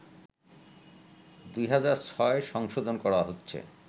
২০০৬ সংশোধন করা হচ্ছে